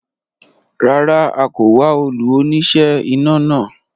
Rárá, a kò wá olú oníṣẹ́ iná náà